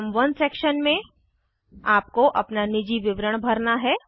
item 1 section में आपको अपना निजी विवरण भरना है